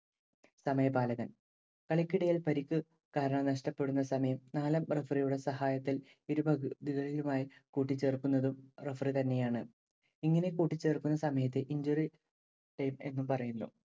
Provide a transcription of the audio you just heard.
സമയപാലകൻ. കളിക്കിടയിൽ പരിക്ക് കാരണം നഷ്ടപ്പെടുന്ന സമയം നാലാം referee യുടെ സഹായത്താൽ ഇരുപകുതികളിലുമായി കൂട്ടിച്ചേർക്കുന്നതും referee തന്നെയാണ്‌. ഇങ്ങനെ കൂട്ടിച്ചേർക്കുന്ന സമയത്തെ injury time എന്ന് പറയുന്നു.